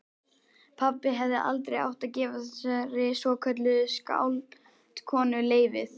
Pabbi hefði aldrei átt að gefa þessari svokölluðu skáldkonu leyfið.